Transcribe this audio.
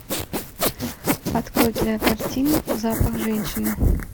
открой кинокартину запах женщины